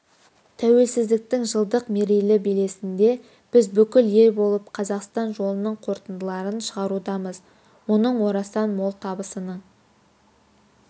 тәуелсіздіктің жылдық мерейлі белесінде біз бүкіл ел болып қазақстан жолының қорытындыларын шығарудамыз оның орасан мол табысының